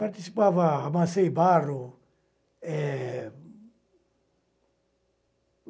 Participava, amassei barro. Eh..,